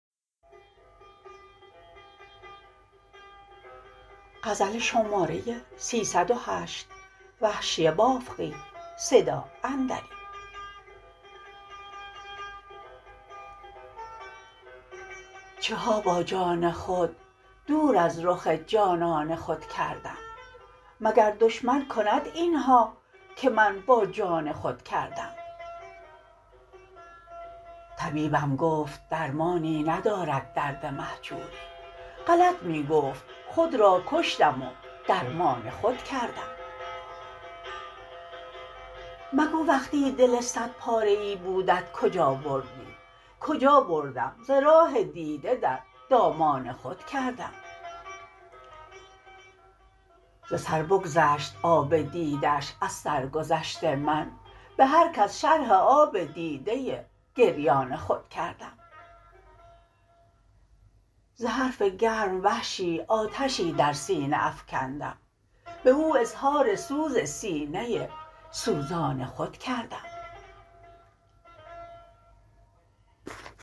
چه ها با جان خود دور از رخ جانان خود کردم مگر دشمن کند این ها که من با جان خود کردم طبیبم گفت درمانی ندارد درد مهجوری غلط می گفت خود را کشتم و درمان خود کردم مگو وقتی دل صد پاره ای بودت کجا بردی کجا بردم ز راه دیده در دامان خود کردم ز سر بگذشت آب دیده اش از سرگذشت من به هر کس شرح آب دیده گریان خود کردم ز حرف گرم وحشی آتشی در سینه افکندم به او اظهار سوز سینه سوزان خود کردم